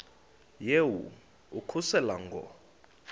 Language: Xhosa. yehu ukususela ngo